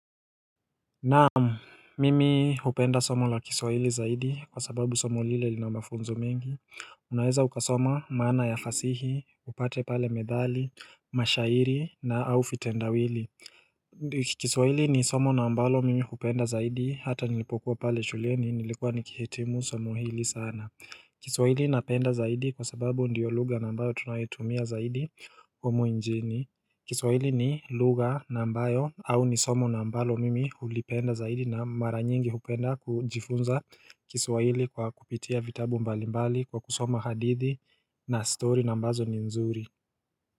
Naam, mimi hupenda somo la kiswahili zaidi kwa sababu somo lile lina mafunzo mengi Unaweza ukasoma maana ya fasihi, upate pale methali, mashairi na au vitendawili kiswahili ni somo na ambalo mimi hupenda zaidi hata nilipokuwa pale shuleni nilikuwa nikihitimu somo hili sana kiswahili napenda zaidi kwa sababu ndio lugha na ambayo tunayetumia zaidi humu nchini kiswahili ni lugha na ambayo au ni somo na ambalo mimi ulipenda zaidi na mara nyingi hupenda kujifunza kiswahili kwa kupitia vitabu mbalimbali kwa kusoma hadithi na story na ambazo ni nzuri.